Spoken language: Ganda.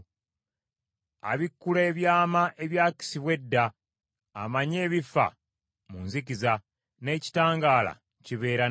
Abikkula ebyama ebyakisibwa edda; amanyi ebifa mu nzikiza, n’ekitangaala kibeera naye.